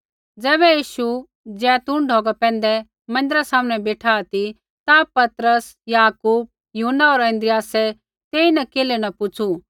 ज़ैबै यीशु जैतून ढौगा पैंधै मन्दिरा सामनै बेठा ती ता पतरस याकूब यूहन्ना होर अन्द्रियासै तेईन केल्है न पुछ़ू